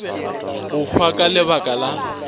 go hwa ka lebaka la